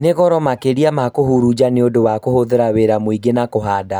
Nĩrĩ goro makĩria ma kũhurunja nĩũndũ wa kũhũthĩra wĩra mũingĩ na ihinda